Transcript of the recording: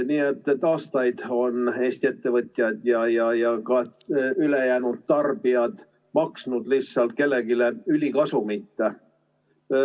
Nii et aastaid on Eesti ettevõtjad ja ka ülejäänud tarbijad maksnud lihtsalt kellelegi ülikasumit.